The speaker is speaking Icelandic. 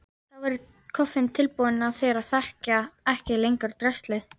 Þá verður kofinn tilbúinn og þeir þekkja ekki lengur draslið.